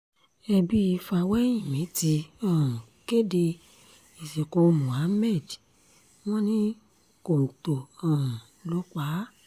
ẹbí fáwẹ́hìnmí ti um kéde ìsìnkú muhammed wọn ní kọ́ńtò um ló pa á